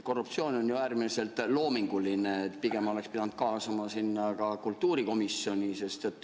Korruptsioon on äärmiselt loominguline, pigem oleks pidanud kaasama sinna ka kultuurikomisjoni.